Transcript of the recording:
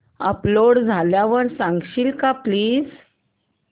upload झाल्यावर सांगशील का प्लीज